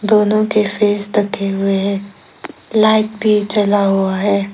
दोनों के फेस ढके हुए हैं लाइट भी जला हुआ है।